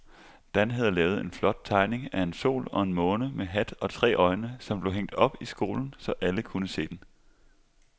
Dan havde lavet en flot tegning af en sol og en måne med hat og tre øjne, som blev hængt op i skolen, så alle kunne se den.